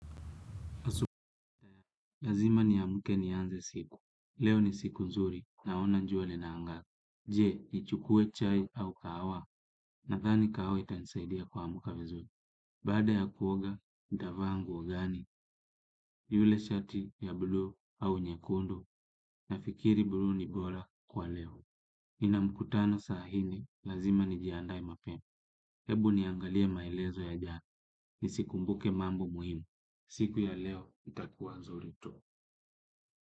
Lazima niamke nianze siku. Leo ni siku nzuri naona jua linangaa. Je, nichukue chai au kahawa nadhani kahawa itanisaidia kuamka vizuri. Baada ya kuoga, nitaa nguo gani? Yule shati ya bluu au nyekundu nafikiri blu ni bora kwa leo. Nina mkutano saa nne, lazima nijiandae mapema. Hebu niangalie maelezo ya jana. Nisikumbuke mambo muhimu. Siku ya leo itakuwa nzuri tu.